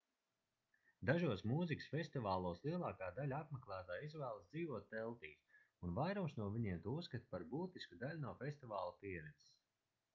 dažos mūzikas festivālos lielāka daļa apmeklētāju izvēlas dzīvot teltīs un vairums no viņiem to uzskata par būtisku daļu no festivāla pieredzes